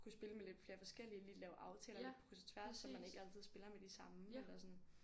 Kunne spille med lidt flere forskellige lige lave aftaler lidt på kryds og tværs så man ikke altid spiller med de samme eller sådan